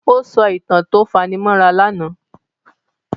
Ó sọ ìtàn tó fani mọ́ra lánàá.